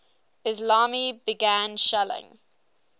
islami began shelling